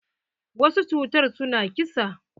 Wasu cutar su na ƙisa.